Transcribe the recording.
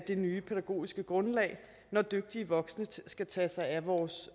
det nye pædagogiske grundlag når dygtige voksne skal tage sig af vores